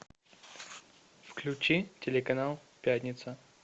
включи телеканал пятница